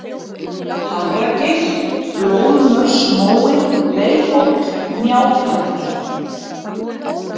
Hafragil, Blóðsmörsmói, Leirhóll, Hnjáfjall